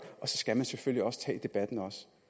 så skal man selvfølgelig også tage debatten